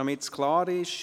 Damit es klar ist: